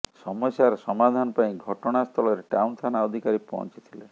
ସମସ୍ୟାର ସମାଧାନ ପାଇଁ ଘଟଣା ସ୍ଥଳରେ ଟାଉନ ଥାନା ଅଧତ୍କାରୀ ପହଁଚିଥିଲେ